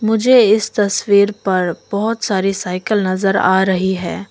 मुझे इस तस्वीर पर बहोत सारी साइकिल नजर आ रही है।